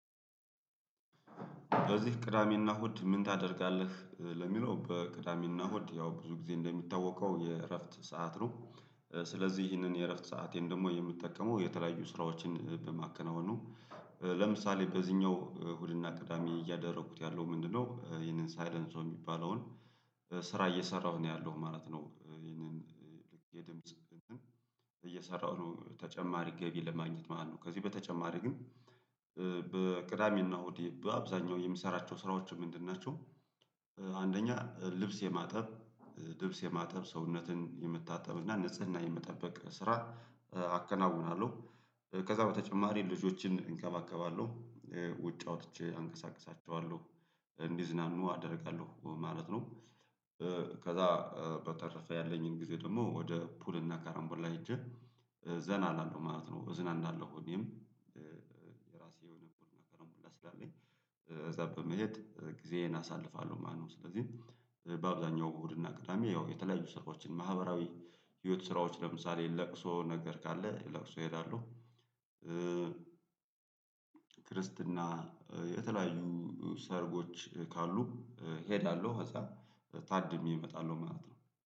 በዚህ ቅዳሜና እሁድ ምን ታደርጋለህ? ለሚለው በቅዳሜና ሆድ ያው ብዙ ጊዜ እንደሚታወቀው የእረፍት ሰዓት ነው። ስለዚህ ይህንን የእረፍት ሰአቴን ደግሞ የምጠቀመው የተለያዩ ስራዎችን በማከናወን ነው። ለምሳሌ በዚህኛው እሁድና ቅዳሜ እያደረኩት ያለው ምንድነው? ይህንን ሳይለንሶ ሰው የሚባለውን ስራ እየሰራሁ ነው ያለሁ ማለት ነው። እየሰራሁ ነው ተጨማሪ ገቢ ለማግኘት ማለት ነው። ከዚህ በተጨማሪ ግን በቅዳሜና እሆድ በአብዛኛው የምሰራቸው ስራዎች ምንድን ናቸው? አንደኛ ልብስ የማጠብ ልብስ የማጠብ ሰውነትን የምታጠብና ንጽህና የምጠበቅ ስራ አከናውናለሁ። ከዛ በተጨማሪ ልጆችን እንከባከባለሁ። ውጭ አውጥቼ አንቀሳቅሳቸዋለሁ። እንዲዝናኑ አደርጋለሁ ማለት ነው። ከዛ በተረፈ ያለኝን ጊዜ ደግሞ ወደ ፑል እና ካረምቡላ ሄጄ ዘና አላለው ማለት ነው እዝናናለሁ። ሁሌም እዛ በመሄድ ጊዜዬን አሳልፋለሁ። ማነው ስለዚህ በአብዛኛው እሁድና ቅዳሜ ያው የተለያዩ ስራዎችን ማህበራዊ ህይወት ስራዎች ለምሳሌ ለቅሶ ነገር ካለ ለቅሶ እሄዳሉ። ክርስትና የተለያዩ ሰርጎች ካሉ እሄዳለሁ። ከዛ ታድሜ እመጣለሁ ማለት ነው